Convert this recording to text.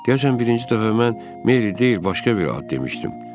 Deyəsən birinci dəfə mən Mary deyil, başqa bir ad demişdim.